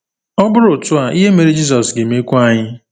Ọ bụrụ otu a, ihe mere Jizọs ga-emekwa anyị.